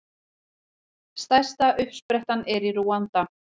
Stærsta uppsprettan er í Rúanda.